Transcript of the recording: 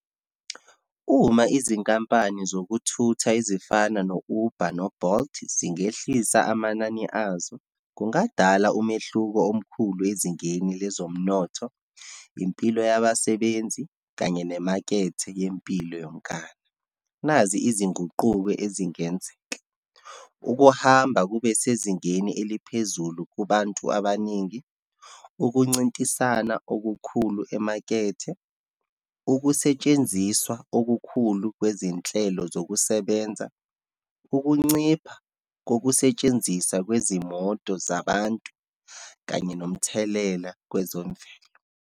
Uma izinkampani zokuthutha ezifana no-Uber, no-Bolt zingehlisa amanani azo, kungadala umehluko omkhulu ezingeni lwezomnotho, impilo yabasebenzi kanye nemakethe yempilo yonkana. Nazi izinguquko ezingenzeka, ukuhamba kube sezingeni eliphezulu kubantu abaningi, ukuncintisana okukhulu emakethe, ukusetshenziswa okukhulu kwezinhlelo zokusebenza, ukuncipha kokusetshenziswa kwezimoto zabantu, kanye nomthelela kwezomvelo.